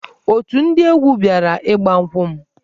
Otù ndị egwu bịara ịgba nkwụ m.